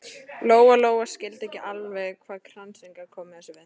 Lóa-Lóa skildi ekki alveg hvað kransinn gat komið þessu við.